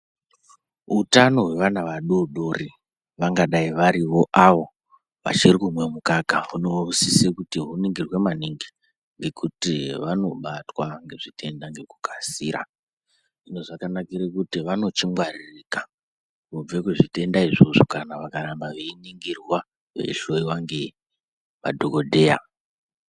Utano hwevana vadoodori vangadai varivo avo vachiri kumwa mukaka hunosise kuti huningirwe maningi ngekuti vanobatwa ngezvitenda ngekukasira hino zvakanakire kuti vanochingwaririka kubve kuzvitenda izvozvo kana vakaramba veiningirwa veihloyiwa ngemadhokodheya.